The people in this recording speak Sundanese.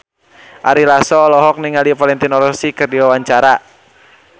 Ari Lasso olohok ningali Valentino Rossi keur diwawancara